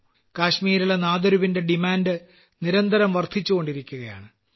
കാശ്മീരിലെ നാദരുവിന്റെ ഡിമാന്റ് നിരന്തരം വർദ്ധിച്ചുകൊണ്ടിരിക്കുകയാണ്